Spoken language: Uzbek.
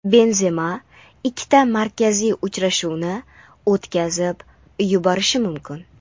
Benzema ikkita markaziy uchrashuvni o‘tkazib yuborishi mumkin.